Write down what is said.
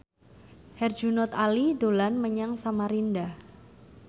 Herjunot Ali dolan menyang Samarinda